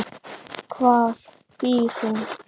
Hvar býr hún?